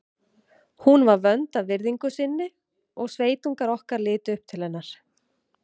Hún var vönd að virðingu sinni og sveitungar okkar litu upp til hennar.